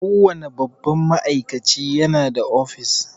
Kowane babban ma'aikaci ya na da office